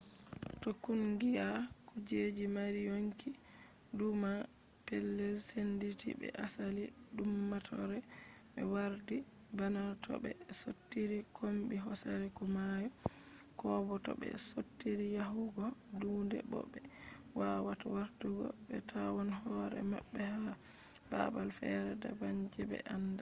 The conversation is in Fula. to kungiya kujeje mari yonkiduumaa petel senditi be asali duummatore be wardibana to be sottiri kombi hosere ko mayo koobo to be sottiri yahugo duunde bo be wawata wartugo be tawon hore mabbe ha babal fere daban je be anda